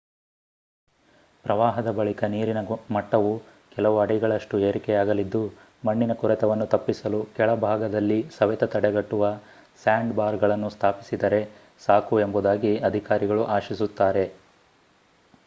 ಪ್ರವಾಹದ ಬಳಿಕ ನೀರಿನ ಮಟ್ಟವು ಕೆಲವು ಅಡಿಗಳಷ್ಟು ಏರಿಕೆಯಾಗಲಿದ್ದು ಮಣ್ಣಿನ ಕೊರೆತವನ್ನು ತಪ್ಪಿಸಲು ಕೆಳಭಾಗದಲ್ಲಿ ಸವೆತ ತಡೆಗಟ್ಟುವ ಸ್ಯಾಂಡ್‌ಬಾರ್‌ಗಳನ್ನು ಸ್ಥಾಪಿಸಿದರೆ ಸಾಕು ಎಂಬುದಾಗಿ ಅಧಿಕಾರಿಗಳು ಆಶಿಸುತ್ತಾರೆ